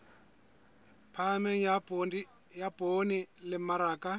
phahameng ya poone le mmaraka